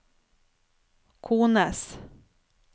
kones